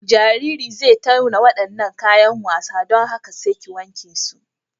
Jaririn zai tauna waɗannan kayan wasa, don haka sai ki wanke su.